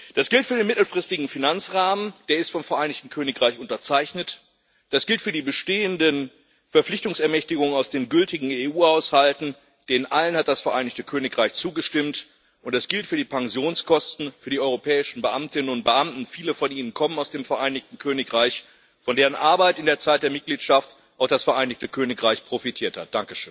Das gilt für den mittelfristigen Finanzrahmen der ist vom Vereinigten Königreich unterzeichnet das gilt für die bestehenden Verpflichtungsermächtigungen aus den gültigen EU Haushalten denen allen hat das Vereinigte Königreich zugestimmt und das gilt für die Pensionskosten für die europäischen Beamtinnen und Beamten viele von ihnen kommen aus dem Vereinigten Königreich von deren Arbeit in der Zeit der Mitgliedschaft auch das Vereinigte Königreich profitiert hat.